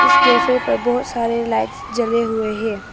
इस कैफे पर बहोत सारे लाइट्स जले हुए है।